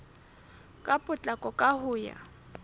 ka potlako ka ho ya